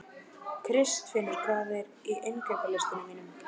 Kristfinnur, hvað er á innkaupalistanum mínum?